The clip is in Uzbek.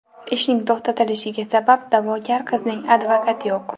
Ishning to‘xtalishiga sabab, da’vogar qizning advokati yo‘q.